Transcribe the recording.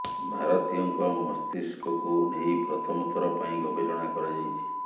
ଭାରତୀୟଙ୍କ ମସ୍ତିଷ୍କକୁ ନେଇ ପ୍ରଥମ ଥର ପାଇଁ ଗବେଷଣା କରାଯାଇଛି